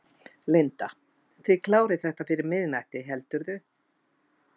Linda: Þið klárið þetta fyrir miðnætti, heldurðu?